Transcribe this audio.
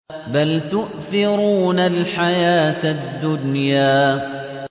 بَلْ تُؤْثِرُونَ الْحَيَاةَ الدُّنْيَا